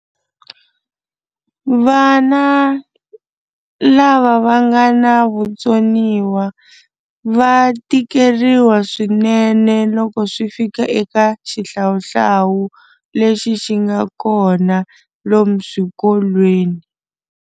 Vana lava va nga na vutsoniwa va tikeriwa swinene loko swi fika eka xihlawuhlawu lexi xi nga kona lomu swikolweni.